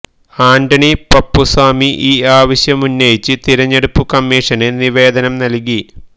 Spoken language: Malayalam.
ആന്റണി പപ്പുസ്വാമി ഈ ആവശ്യമുന്നയിച്ച് തിരഞ്ഞെടുപ്പ് കമ്മീഷന് നിവേദനം നല്കി